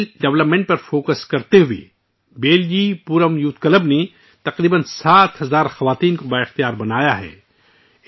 ہنر کی ترقی پر توجہ مرکوز کرتے ہوئے، 'بیلجی پورم یوتھ کلب' نے تقریباً 7000 خواتین کو بااختیار بنایا ہے